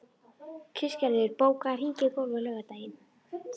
Kristgerður, bókaðu hring í golf á laugardaginn.